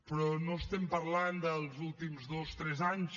però no estem parlant dels últims dos tres anys